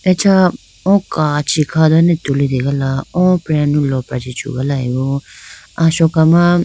Acha o kachi kha done tulitegala o preyanu lopra chi chugalayibo asoka ma.